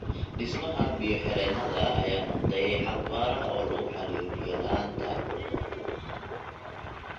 Dhismaha biyo-xireennada ayaa noqday xal waara oo lagu xalliyo biyo-la'aanta.